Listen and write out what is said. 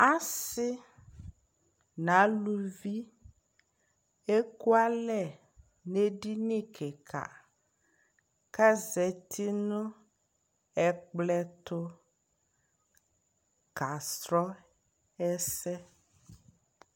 asii nʋ alʋvi ɛkʋalɛ nʋ ɛdinikikaa kʋ azati nʋ ɛkplɔ ɛtʋ ka srɔ ɛsɛ